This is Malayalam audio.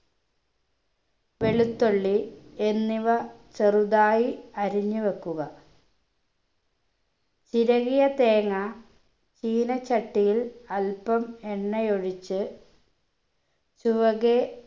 വെളുത്തുള്ളി എന്നിവ ചെറുതായി അരിഞ്ഞ് വെക്കുക ചിരവിയ തേങ്ങ ചീനച്ചട്ടിയിൽ അൽപ്പം എണ്ണയൊഴിച്ച് ചുവകെ